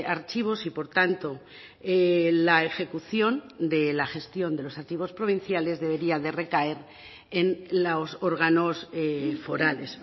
archivos y por tanto la ejecución de la gestión de los archivos provinciales debería de recaer en los órganos forales